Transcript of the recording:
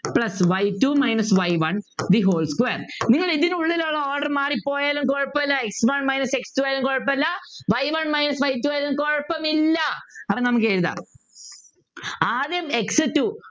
plus y two minus y one the whole square നിങ്ങൾ ഇതിനുള്ളിലുള്ള order മാറിപ്പോയാലും കുഴപ്പമില്ല x one minus x two ആയാലും കുഴപ്പമില്ല y one minus y two ആയാലും കുഴപ്പമില്ല അപ്പൊ നമുക്ക് എഴുതാം ആദ്യം x two